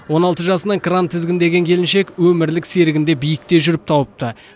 он алты жасынан кран тізгіндеген келіншек өмірлік серігін де биікте жүріп тауыпты